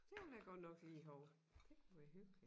Det ville jeg godt nok lige have det kunne være hyggeligt